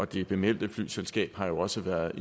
det bemeldte flyselskab har jo også været